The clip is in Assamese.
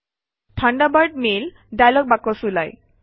থাণ্ডাৰবাৰ্ড মেইল ডায়লগ বাকচ ওলায়